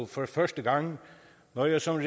for første gang når jeg som